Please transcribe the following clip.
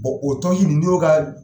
o tɔn si nin n'i y'o ka